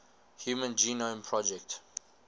human genome project